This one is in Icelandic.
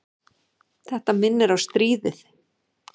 Þetta minnir á stríðið.